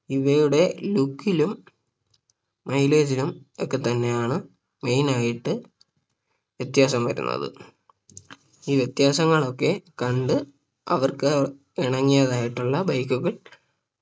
ഇവയുടെ Look ലും Mileage ഉം ഒക്കെ തന്നെയാണ് main ആയിട്ട് വ്യത്യാസം വരുന്നത് ഈ വ്യത്യാസങ്ങൾ ഒക്കെ കണ്ട് അവർക്ക് ഇണങ്ങിയതായിട്ടുള്ള Bike കൾ